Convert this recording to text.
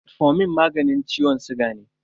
Metformin magani ciwon siga ne.